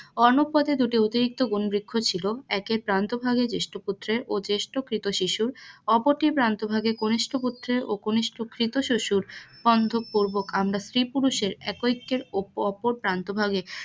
অন্য পথে দুটি অতিরিক্ত ছিল একের প্রান্ত জ্যেষ্ঠ পুত্রের অ জ্যেষ্ঠ কৃত শিশুর অপরতির প্রান্ত ভাগে কনিষ্ঠ পুত্রের অ কনিষ্ঠ কৃত শিশুর বন্ধক পুর্বক আমরা স্ত্রী পুরুষের একই এক্যের উপর প্রান্ত ভাগে